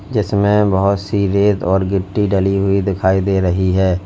जिसमें बहोत सी रेत और गिट्टी डली हुई दिखाई दे रही है।